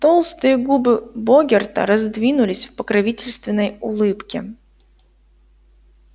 толстые губы богерта раздвинулись в покровительственной улыбке